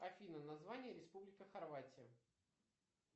афина название республика хорватия